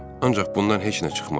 Ancaq bundan heç nə çıxmadı.